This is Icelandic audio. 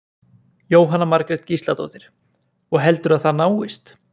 Jóhanna Margrét Gísladóttir: Og heldurðu að það náist?